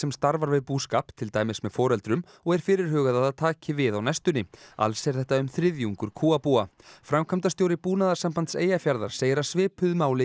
starfar við búskap til dæmis með foreldrum og er fyrirhugað að að taki við á næstunni alls er þetta um þriðjungur kúabúa framkvæmdastjóri Búnaðarsambands Eyjafjarðar segir að svipuðu máli